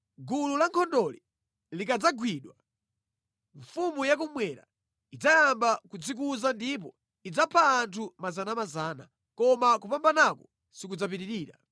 Gulu la nkhondoli likadzagwidwa, mfumu yakummwera idzayamba kudzikuza ndipo idzapha anthu miyandamiyanda, koma kupambanaku sikudzapitirira.